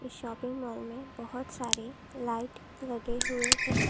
Shopping mall में बहुत सारे लाइट लगे हुए हैं।